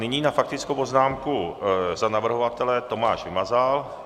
Nyní na faktickou poznámku za navrhovatele Tomáš Vymazal.